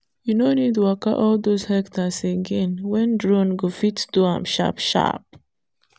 you no need waka all those hectares again when drone go fit do am sharp-sharp.